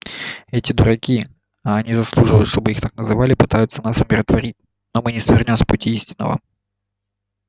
эти дураки а они заслуживают чтобы их так называли пытаются нас умиротворить но мы не свернём с пути истинного